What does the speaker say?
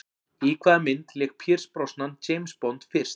Í hvaða mynd lék Pierce Brosnan James Bond fyrst?